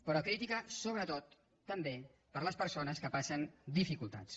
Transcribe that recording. però crítica sobretot també per a les persones que passen dificultats